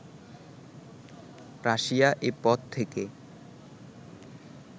Russia এ পথ থেকে